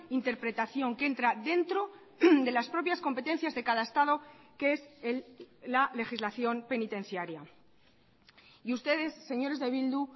interpretación que entra dentro de las propias competencias de cada estado que es la legislación penitenciaria y ustedes señores de bildu